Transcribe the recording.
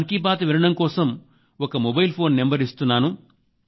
మన్ కీ బాత్ వినడం కోసం ఒక మొబైల్ ఫోన్ నంబర్ ఇస్తున్నాం